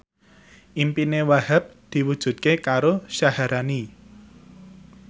impine Wahhab diwujudke karo Syaharani